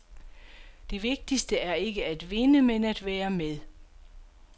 Det vigtigste er ikke at vinde, men at være med.